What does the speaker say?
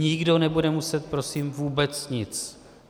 Nikdo nebude muset prosím vůbec nic.